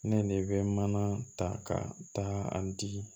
Ne de bɛ mana ta ka taa a di